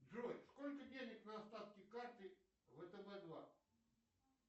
джой сколько денег на остатке карты втб два